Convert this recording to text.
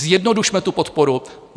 Zjednodušme tu podporu.